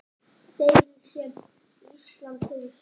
Deilu sem Ísland hefur stutt.